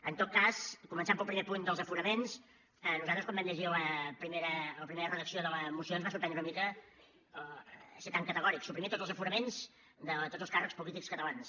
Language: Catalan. en tot cas començant pel primer punt dels aforaments a nosaltres quan vam llegir la primera redacció de la moció ens va sorprendre una mica ser tan categòrics suprimir tots els aforaments de tots els càrrecs polítics catalans